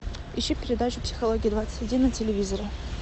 ищи передачу психология двадцать один на телевизоре